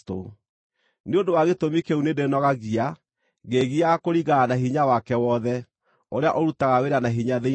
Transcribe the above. Nĩ ũndũ wa gĩtũmi kĩu nĩndĩĩnogagia, ngĩĩgiaga kũringana na hinya wake wothe, ũrĩa ũrutaga wĩra na hinya thĩinĩ wakwa.